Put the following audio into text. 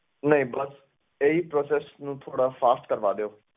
ਨਹੀਂ ਬਸ ਇਹੀ process ਨੂੰ ਥੋੜ੍ਹਾ fast ਕਰਵਾ ਦਿਓ।